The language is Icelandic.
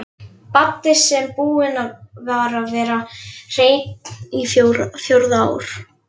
Baddi sem búinn var að vera hreinn á fjórða ár.